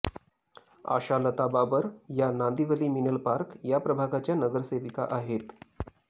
आशालता बाबर या नांदिवली मिनल पार्क या प्रभागाच्या नगरसेविका आहेत